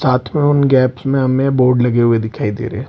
साथ मे उन गेप्स मे हमे बोर्ड लगे हुए दिखाई दे रहे है।